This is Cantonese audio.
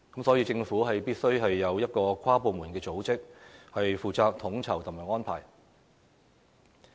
所以，政府必須有一個跨部門組織，負責統籌及安排。